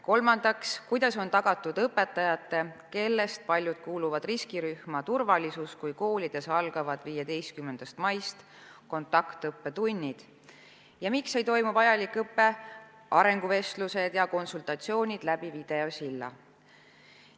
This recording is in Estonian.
Kolmandaks, kuidas on tagatud õpetajate, kellest paljud kuuluvad riskirühma, turvalisus, kui koolides algavad 15. maist kontaktõppetunnid, ning miks ei toimu vajalik õpe, arenguvestlused ja konsultatsioonid läbi videosilla?